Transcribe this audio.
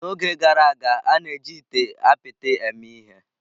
N'oge gara aga, a na-eji ite apịtị eme ihe.